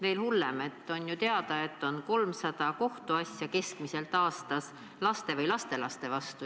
Veel hullem, on ju teada, et keskmiselt 300 kohtuasja aastas on laste või lastelaste vastu.